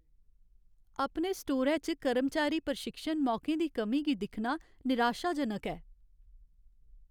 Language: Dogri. अपने स्टोरै च कर्मचारी प्रशिक्षण मौकें दी कमी गी दिक्खना निराशाजनक ऐ।